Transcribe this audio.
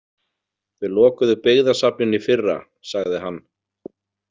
Þau lokuðu byggðasafninu í fyrra, sagði hann.